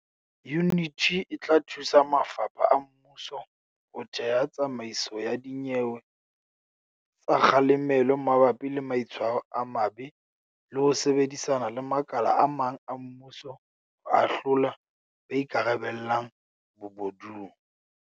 Yuniti e tla thusa mafapha a mmuso ho theha tsamaiso ya dinyewe tsa kga lemelo mabapi le maitshwaro a mabe le ho sebedisana le makala a mang a mmuso ho ahlola ba ikarabellang bobo dung.